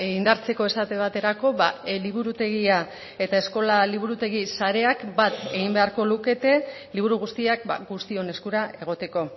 indartzeko esate baterako liburutegia eta eskola liburutegi sareak bat egin beharko lukete liburu guztiak guztion eskura egoteko